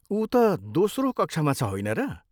ऊ त दोस्रो कक्षामा छ होइन र?